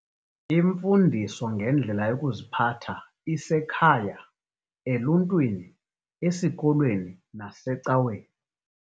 Imfundiso ngendlela yokuziphatha isekhaya, eluntwini, esikolweni nasecaweni.